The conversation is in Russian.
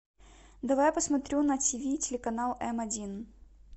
давай посмотрю на ти ви телеканал м один